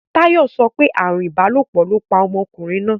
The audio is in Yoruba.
Táyò sopé ààrùn ìbálòpò lóo pa omokùnrin náà.